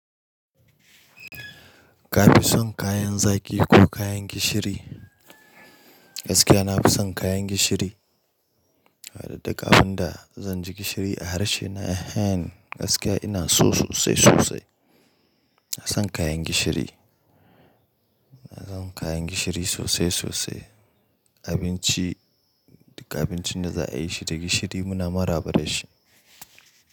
Ka fi son kayan zaki ko kayan gishiri? Gaskiya na fi son kayan gishiri. Harda kafin da zan ji gishiri a harshe na ehen, gaskiya ina so sosai sosai. Ina son kayan gishiri. Ina san kayan gishiri sosai sosai. Abinci, abincin da za a yi shi ta gishiri muna maraba da shi.